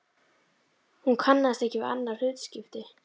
Hún kannaðist ekki við annað hlutskipti.